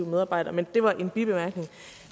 medarbejdere det var en bibemærkning